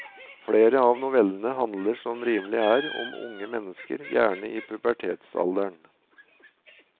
Flere av novellene handler som rimelig er, om unge mennesker, gjerne i pubertetsalderen.